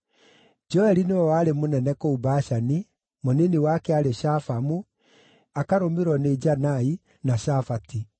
Joeli nĩwe warĩ mũnene kũu Bashani, mũnini wake aarĩ Shafamu, akarũmĩrĩrwo nĩ Janai, na Shafati.